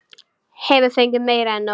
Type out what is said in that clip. Hefur fengið meira en nóg.